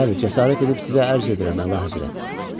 Bəli, cəsarət edib sizə ərz edirəm, Əlahəzrət.